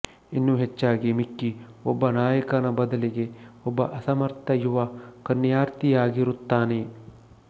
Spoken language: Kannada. ಇನ್ನೂ ಹೆಚ್ಚಾಗಿ ಮಿಕ್ಕಿ ಒಬ್ಬ ನಾಯಕನ ಬದಲಿಗೆ ಒಬ್ಬ ಅಸಮರ್ಥ ಯುವ ಕನ್ಯಾರ್ಥಿಯಾಗಿರುತ್ತಾನೆ